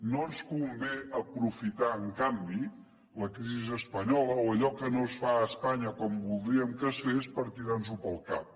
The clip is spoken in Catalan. no ens convé aprofitar en canvi la crisi espanyola o allò que no es fa a espanya com voldríem que es fes per tirar nos ho pel cap